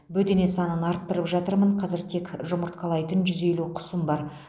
бөдене санын арттырып жатырмын қазір тек жұмыртқалайтын жүз елу құсым бар